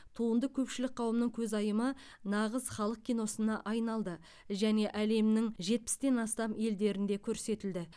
туынды көпшілік қауымның көзайымы нағыз халық киносына айналды және әлемнің жетпістен астам елінде көрсетілді